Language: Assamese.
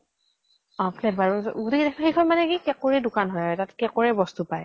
অ flavour ও ত গোতেই কেইটা সেইখন মানে কি cake ৰে দুকান হয়। তাত cake ৰে বস্ত পায়।